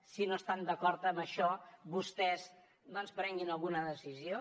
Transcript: si no estan d’acord amb això vostès doncs prenguin alguna decisió